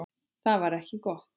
Það var ekki gott.